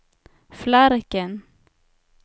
Flarken